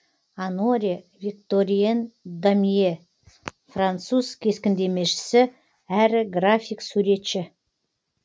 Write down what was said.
оноре викторьен домье француз кескіндемешісі әрі график суретші